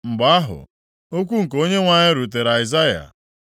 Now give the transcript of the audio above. Mgbe ahụ, okwu nke Onyenwe anyị rutere Aịzaya,